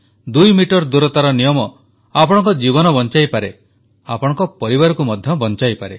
ଦୁଇ ମିଟର ଦୂରତାର ନିୟମ ଆପଣଙ୍କ ଜୀବନ ବଞ୍ଚାଇପାରେ ଆପଣଙ୍କ ପରିବାରକୁ ମଧ୍ୟ ବଞ୍ଚାଇପାରେ